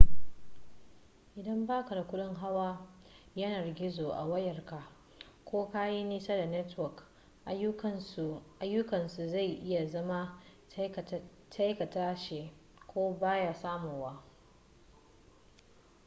idan baka da kudin hawa yanar gizo a wayarka ko ka yi nisa da network ayyukansu zai iya zama takaitacce ko baya samuwa